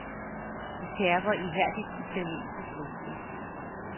De terper ihærdigt italienske gloser.